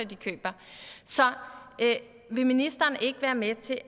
de køber så vil ministeren ikke være med til at